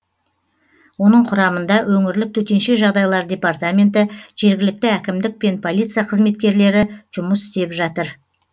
оның құрамында өңірлік төтенше жағдайлар департаменті жергілікті әкімдік пен полиция қызметкерлері жұмыс істеп жатыр